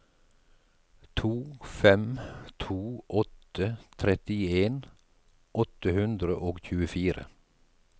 to fem to åtte trettien åtte hundre og tjuefire